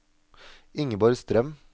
Ingeborg Strøm